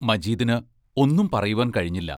മജീദിന് ഒന്നും പറയുവാൻ കഴിഞ്ഞില്ല.